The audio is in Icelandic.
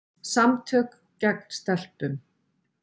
Samtök gegn stelpum.